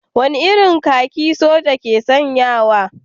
Wane irin kakin soja ne ke sanyawa?